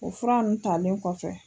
O fura ninnu talen kɔfɛ